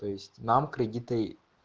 то есть нам кредиты